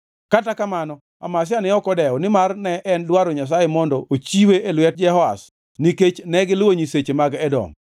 Kata kamano, Amazia ne ok odewo, nimar ne en dwaro Nyasaye mondo ochiwe e lwet Jehoash nikech negiluwo nyiseche mag Edom.